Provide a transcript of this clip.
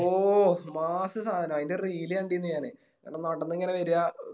ഓ Mass സാനം അയിൻറെ Reel കണ്ടിന്നു ഞാന് ഇങ്ങനെ നടന്നിങ്ങനെ വേര